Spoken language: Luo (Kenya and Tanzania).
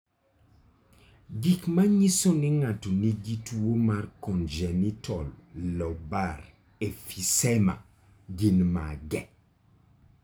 Gik manyiso ni ng'ato nigi tuwo mar congenital lobar emphysema gin mage?